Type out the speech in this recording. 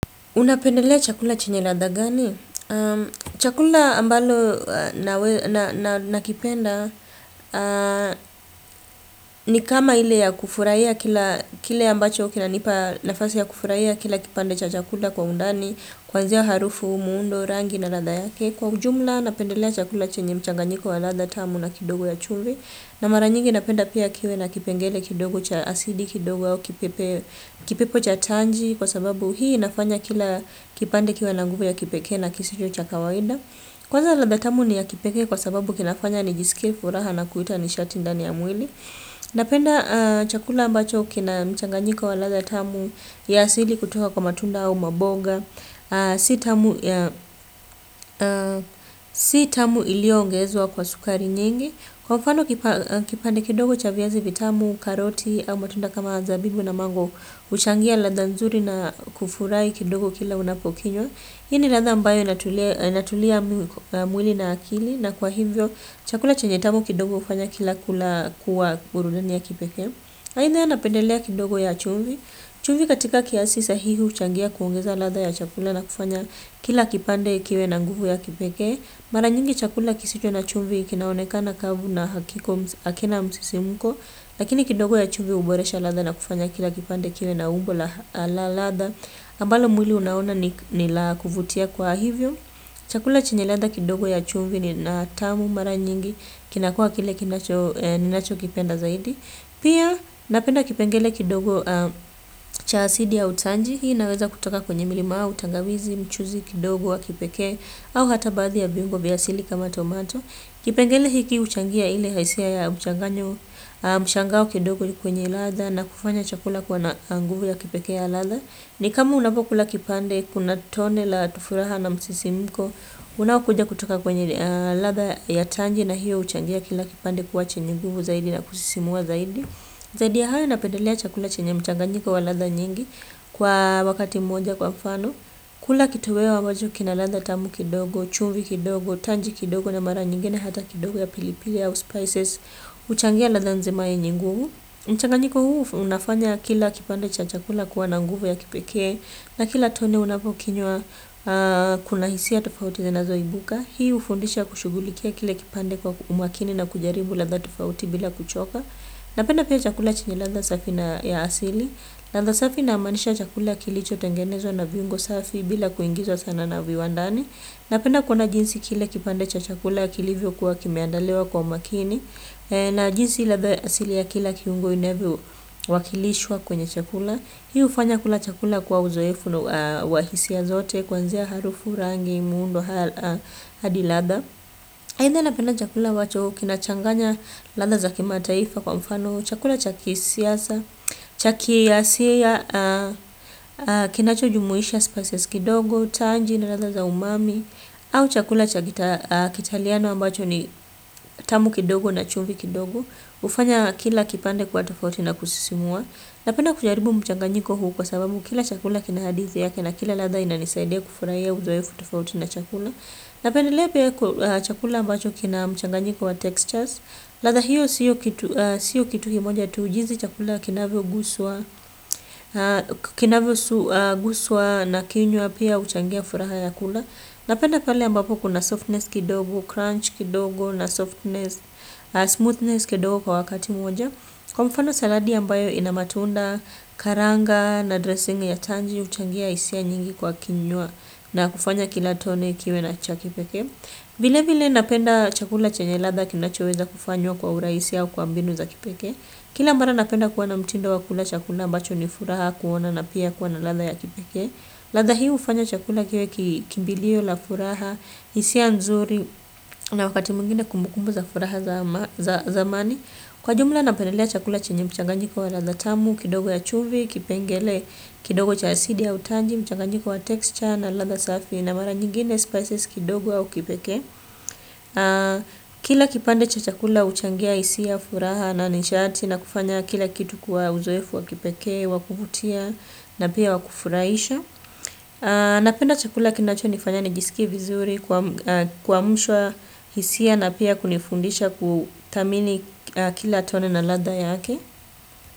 Unapendelea chakula chenye ladha gani? Chakula ambalo na kipenda ni kama ile ya kufurahia kile ambacho kinanipa nafasi ya kufurahia kila kipande cha chakula kwa undani, kuanzia harufu, muundo, rangi na ladha yake. Kwa ujumla napendelea chakula chenye mchanganyiko wa ladha tamu na kidogo ya chumvi. Na mara nyingi napenda pia kiwe na kipengele kidogo cha asidi kidogo au kipepo cha tanji. Kwa sababu hii inafanya kila kipande kiwe na nguvu ya kipekee na kisicho cha kawaida. Kwanza ladha tamu ni ya kipekee kwa sababu kinafanya nijisikie furaha na kuita nishati ndani ya mwili. Napenda chakula ambacho kina mchanganyiko wa ladha tamu ya asili kutoka kwa matunda au maboga si tamu iliongezwa kwa sukari nyingi kwa mfano kipande kidogo cha viazi vitamu, karoti au matunda kama zabibu na mango. Huchangia ladha nzuri na kufurahi kidogo kila unapokinywa hii ni ladha ambayo inatulia inatulia mwili na akili na kwa hivyo chakula chenye tamu kidogo hufanya kila kula kuwa burudani ya kipekee ainye nanapendelea kidogo ya chumvi chumvi katika kiasi sahihi huchangia kuongeza ladha ya chakula na kufanya kila kipande kiwe na nguvu ya kipeke mara nyingi chakula kisicho na chumvi kinaonekana kavu na hakina msisimko lakini kidogo ya chumvi huboresha ladha na kufanya kila kipande kiwe na umbo la ladha ambalo mwili unaona ni la kuvutia kwa hivyo chakula chenye ladha kidogo ya chumvi ni na tamu mara nyingi kinakuwa kile ninacho kipenda zaidi pia napenda kipengele kidogo cha asidi ya utanji hii inaweza kutoka kwenye milima au tangawizi mchuzi kidogo wa kipekee au hata baadhi ya viungo vya asili kama tomato. Kipengele hiki huchangia ili hisia ya mchanganyo mshangao kidogo kwenye ladha na kufanya chakula kuwa na nguvu ya kipekee ya latha. Ni kama unapokula kipande kuna tone la tufuraha na msisimiko. Unaokuja kutoka kwenye ladha ya tanji na hiyo huchangia kila kipande kwa chenye nguvu zaidi na kusisimua zaidi. Zadi ya hayo napendelea chakula chenye mchanganyiko wa ladha nyingi kwa wakati mmoja kwa mfano. Kula kitoweo ambacho kina ladha tamu kidogo, chumvi kidogo, tanji kidogo na mara nyingine hata kidogo ya pilipili au spices huchangia ladha nzima yenye nguvu. Mchanganyiko huu unafanya kila kipande cha chakula kuwa na nguvu ya kipeke. Na kila tone unapokinywa kuna hisia tofauti zinazoibuka. Hii hufundisha kushugulikia kile kipande kwa umakini na kujaribu ladha tofauti bila kuchoka. Napenda pia chakula chenye latha safi na asili. Landha safi naamanisha chakula kilicho tengenezwa na viungo safi bila kuingizwa sana na viwandani. Napenda kuona jinsi kile kipande cha chakula kilivyo kuwa kimeandaliwa kwa makini. Na jinsi ladha ya asili ya kila kiungo inavyowakilishwa kwenye chakula hiu hufanya kula chakula kuwa uzoefu na wa hisia zote kuanzia harufi rangi, muundo, hadi ladha. Aidha napenda chakula ambacho kinachanganya ladha za kimataifa kwa mfano, chakula cha kisiasa, chaki ya siya, kinacho jumuhisha spices kidogo, tanji na latha za umami, au chakula cha kitaliano ambacho ni tamu kidogo na chumvi kidogo, hufanya kila kipande kuwa tofauti na kusisimua. Napenda kujaribu mchanganyiko huu kwa sababu kila chakula kina hadithi yake na kila ladha inanisaidia kufurahia uzoefu tofauti na chakula. Napendelea pia chakula ambacho kina mchanganyiko wa textures. Ladha hiyo sio kitu kimoja tu jinsi chakula kinavyo guswa na kinywa pia huchangia furaha ya kula. Napenda pale ambapo kuna softness kidogo, crunch kidogo na smoothness kidogo kwa wakati mmoja. Kwa mfano saladi ambayo ina matunda karanga na dressing ya tanji huchangia hisia nyingi kwa kinywa na kufanya kila tone kiwe na cha kipeke. Vilevile napenda chakula chenye ladha kinachoweza kufanywa kwa urahisi au kwa mbinu za kipekee. Kila mara napenda kuwa na mtindo wa kula chakula ambacho ni furaha kuona na pia kuwa na ladha ya kipekee ladha hii hufanya chakula kiwe kimbilio la furaha hisia nzuri na wakati mwingine kumbukumbu za furaha zamani. Kwa jumla napendelea chakula chenye mchanganjiko wa ladha tamu, kidogo ya chumvi, kipengele kidogo cha asidi ya utanji, mchanganjiko wa texture na ladha safi na mara nyingine spices kidogo au kipeke. Kila kipande cha chakula huchangia hisia, furaha na nishati na kufanya kila kitu kwa uzoefu wa kipeke, wa kuvutia na pia wa kufurahisha. Napenda chakula kinacho nifanya nijisike vizuri kuamshwa hisia na pia kunifundisha kuthamini kila tone na ladha yake.